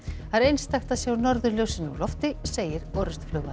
það er einstakt að sjá norðurljósin úr lofti segir